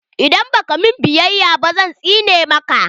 Idan ba ka min biyaya ba zan tsine maka!